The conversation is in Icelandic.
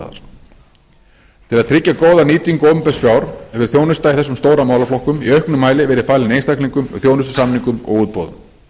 tryggja góða nýtingu opinbers fjár hefur þjónusta í þessum stóru málaflokkum í auknum mæli verið falin einstaklingum með þjónustusamningum og útboðum